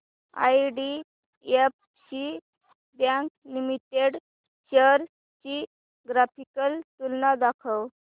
IDFC bank limited shares ची graphical तुलना दाखव